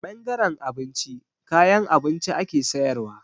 A ɓangaren abinci, kayan abinci ake sayarwa.